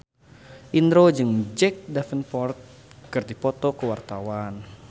Indro jeung Jack Davenport keur dipoto ku wartawan